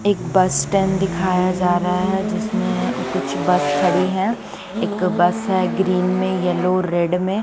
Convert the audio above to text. एक bus stand दिखाया जा रहा हे जिस में कुछ बस खड़ी हे एक बस हे ग्रीन में येल्लो रेड में --